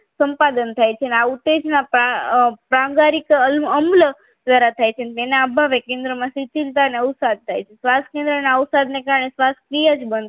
સંપાદન થાય છે અને આ ઉત્તેજના પ્રાણ પ્રાણગારિત અમુલક દ્વારા થાય છે તેને આવવામાં કેન્દ્રમાં ઉચ્ચ શિથિલતા ને ઉછાળ થાય છે શ્વાસ કેન્દ્રના આ ઉછાળને કારણે શ્વાસનીય જ